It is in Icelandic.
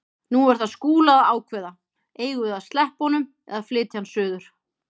Nú er það Skúla að ákveða: Eigum við að sleppa honum eða flytja hann suður?